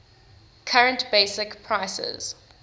current basic prices